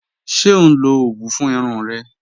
Ṣẹ o nlọ owú fún irùn rẹ?